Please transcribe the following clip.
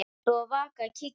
Rebbi og Vaka kíkja við.